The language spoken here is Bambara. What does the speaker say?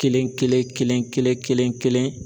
Kelen kelen kelen kelen kelen kelen.